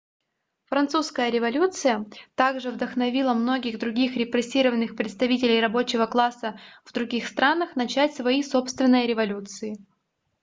французская революция также вдохновила многих других репрессированных представителей рабочего класса в других странах начать свои собственные революции